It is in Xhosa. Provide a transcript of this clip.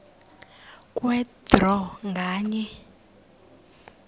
kwe draw nganye